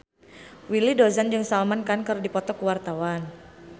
Willy Dozan jeung Salman Khan keur dipoto ku wartawan